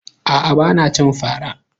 A'a, ba na cin fara.